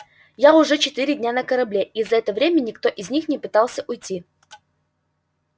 я уже четыре дня на корабле и за это время никто из них не пытался уйти